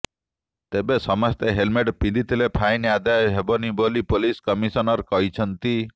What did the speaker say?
ତେବେ ସମସ୍ତେ ହେଲମେଟ୍ ପିନ୍ଧିଥିଲେ ଫାଇନ୍ ଆଦାୟ ହେବନି ବୋଲି ପୋଲିସ କମିଶନର କହିଛନ୍ତି